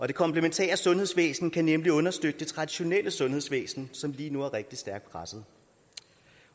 det komplementære sundhedsvæsen kan nemlig understøtte det traditionelle sundhedsvæsen som lige nu er rigtig stærkt presset